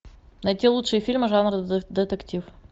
найти лучшие фильмы жанра детектив